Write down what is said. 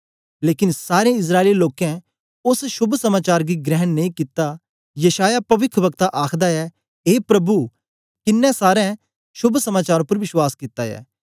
लेकन सारें इस्राएली लोकें ओस शोभ समाचार गी ग्रहण नेई कित्ता यशायाह पविख्व्कता आखदा ऐ ए प्रभु किन्नें साड़े शोभ समाचार उपर विश्वास कित्ता ऐ